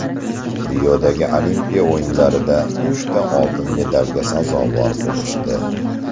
Riodagi Olimpiya o‘yinlarida uchta oltin medalga sazovor bo‘lishdi.